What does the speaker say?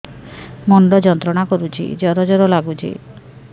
ମୁଣ୍ଡ ଯନ୍ତ୍ରଣା କରୁଛି ଜର ଜର ଲାଗୁଛି